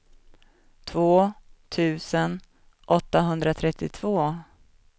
två tusen åttahundratrettiotvå